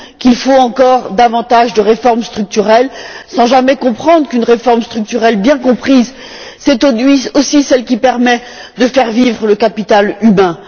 Qu'il faut encore davantage de réformes structurelles sans jamais comprendre qu'une réforme structurelle bien comprise c'est aussi celle qui permet de faire vivre le capital humain.